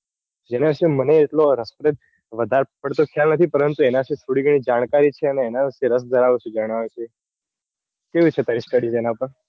જેના વિશે એટલો વધારે પડતો ખ્યાલ નથી. પરંતુ એના વિશે થોડી ગણી જાણકારી છે. જણાવે છે. કેવી છે. study તેના પર